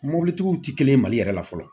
Mɔbilitigiw ti kelen ye mali yɛrɛ la fɔlɔ